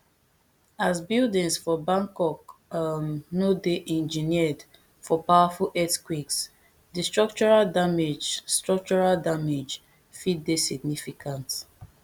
as buildings for bangkok um no dey engineered for powerful earthquakes di structural damage structural damage fit dey significant